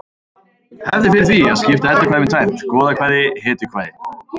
Hefð er fyrir því að skipta eddukvæðum í tvennt: goðakvæði hetjukvæði